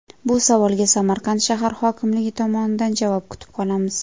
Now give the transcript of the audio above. Bu savolga Samarqand shahar hokimligi tomonidan javob kutib qolamiz.